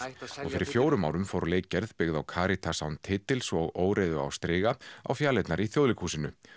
og fyrir fjórum árum fór leikgerð byggð á Karítas án titils og óreiðu á striga á fjalirnar í Þjóðleikhúsinu